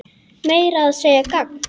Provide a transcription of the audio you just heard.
Meira að segja gagn.